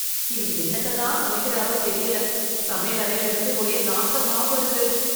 இவர் என்னத்த தான் சமைக்கிறாரோ தெரியல சமையலறையில் இருந்து ஒரே நாத்தமா வருது